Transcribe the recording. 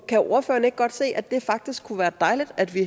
kan ordføreren ikke godt se at det faktisk kunne være dejligt at vi